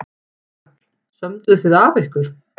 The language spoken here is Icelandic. Karl: Sömdu þið af ykkur?